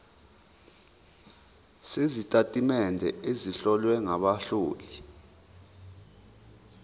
sezitatimende ezihlowe ngabahloli